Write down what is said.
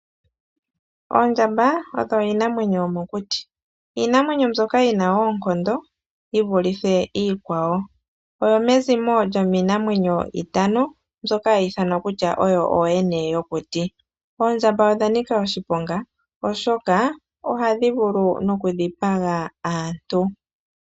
Oondjamba odho iinamwenyo yomokuti iinamwenyo mbyoka yina oonkondo yivulithe iikwawo, oyomezimo lyomiinamwenyo itano mbyoka ha yi ithanwa kutya oyo ooyene yokuti, oondjamba odhanika oshiponga oshoka ohadhi vulu nokudhipaga aantu.